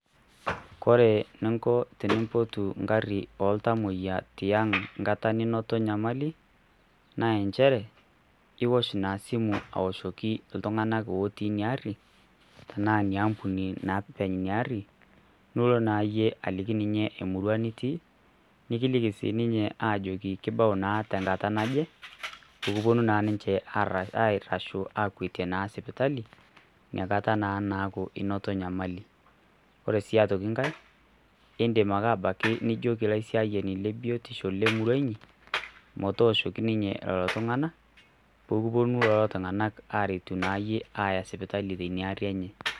Kore ninko tenimpotu nkari oo ltamoyia tiang' enkata ninoto enyamali naa inchere iosh ina simu aoshoki ltung'ana ooti ina ari ena ina ampuni naa eopeny ina ari duo naa iyie aliki ninye emurua enitii nikiliki sii ninche ajoki kebau naa tenkata naje pekipuonu naa ninche aitosho akuetie naa sipitali nekata naa naaku inoto enyamali. Ore sii aitoki nkae idim ake abaki nijoki laisiayayani le biotisho lemurua inyi motoshoki ninche lelo tung'ana pepuoni duo lelo tung'ana aretu iyie aya sipitali tina ari enye.